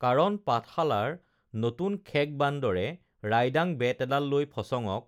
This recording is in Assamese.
কাৰণ পাঠশালাৰ নতুন খেক বান্দৰে ৰাইডাং বেত এডাল লৈ ফচঙক